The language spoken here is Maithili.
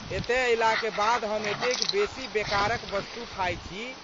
एतए अयलाक बाद हम एतेक बेसी बेकारक वस्तु खाइ छी।